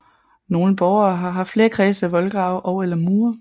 Nogle borge har haft flere kredse af voldgrave og eller mure